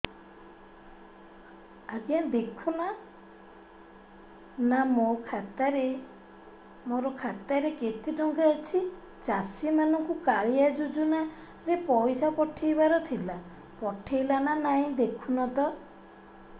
ଆଜ୍ଞା ଦେଖୁନ ନା ମୋର ଖାତାରେ କେତେ ଟଙ୍କା ଅଛି ଚାଷୀ ମାନଙ୍କୁ କାଳିଆ ଯୁଜୁନା ରେ ପଇସା ପଠେଇବାର ଥିଲା ପଠେଇଲା ନା ନାଇଁ ଦେଖୁନ ତ